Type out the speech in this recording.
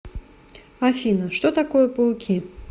афина что такое пауки